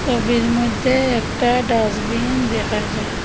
ছবির মধ্যে একটা ডাস্টবিন দেখা যা--